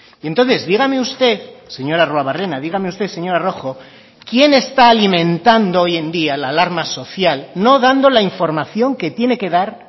y entonces dígame usted señor arruabarrena dígame usted señora rojo quién está alimentando hoy en día la alarma social no dando la información que tiene que dar